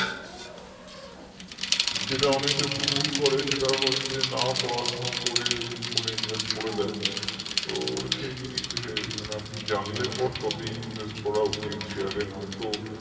যেটা অনেকে ভুল করে সেটা হচ্ছে না পড়াশোনা করে দুম করে invest করে দেয় তো সেই জিনিসটা আপনি জানলে পরে তবেই invest করা উচিত share এ নয়তো